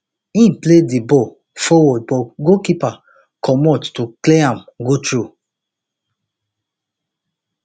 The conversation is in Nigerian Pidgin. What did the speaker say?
im play di play di ball forward but goalkeeper comot to clear am go throw